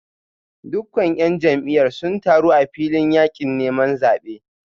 Dukkan ‘yan jam’iyyar sun taru a filin yakin neman zabe